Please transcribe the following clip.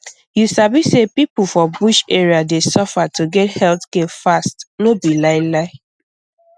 you sabi say people for bush area dey suffer to get health care fast no be lie lie